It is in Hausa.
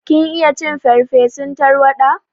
Kin iya cin farsefun tarwaɗa?